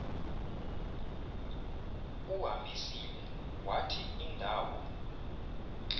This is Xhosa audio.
uhambisile wathi indawo